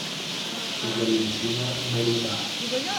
валентина нарина